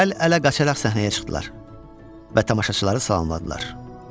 Əl-ələ qaçaqaça səhnəyə çıxdılar və tamaşaçıları salamladılar.